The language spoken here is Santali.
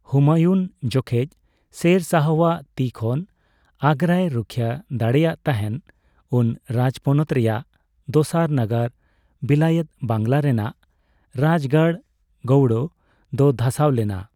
ᱦᱩᱢᱟᱭᱩᱱ ᱡᱚᱠᱷᱮᱡ ᱥᱮᱨ ᱥᱟᱦᱚᱣᱟᱜ ᱛᱤ ᱠᱷᱚᱱ ᱟᱜᱨᱟᱭ ᱨᱩᱠᱷᱤᱭᱟᱹ ᱫᱟᱲᱮᱭᱟᱜ ᱛᱟᱦᱮᱱ, ᱩᱱ ᱨᱟᱡᱽᱯᱚᱱᱚᱛ ᱨᱮᱱᱟᱜ ᱫᱚᱥᱟᱨ ᱱᱟᱜᱟᱨ ᱵᱤᱞᱟᱭᱮᱛ ᱵᱟᱝᱞᱟ ᱨᱮᱱᱟᱜ ᱨᱟᱡᱽ ᱜᱟᱲ ᱜᱳᱣᱲᱳ ᱫᱚ ᱫᱷᱟᱥᱟᱣ ᱞᱮᱱᱟ ᱾